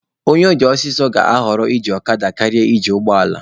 Onye ọ dị ọsọ ọsọ ga-ahọrọ iji ọkada karịa iji ụgbọ ala.